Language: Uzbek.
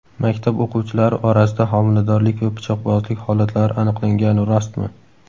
Maktab o‘quvchilari orasida homiladorlik va pichoqbozlik holatlari aniqlangani rostmi?.